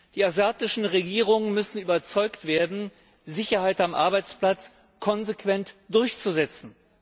Die asiatischen Regierungen müssen überzeugt werden, Sicherheit am Arbeitsplatz konsequent durchzusetzen.